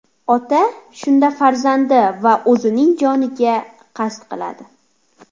Ota shunda farzandi va o‘zining joniga qasd qiladi.